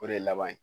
O de ye laban ye